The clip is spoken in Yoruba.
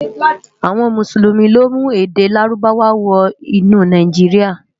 Awòn Músúlúmi lo mú èdè Lárúbáwá wò nú Náijiriá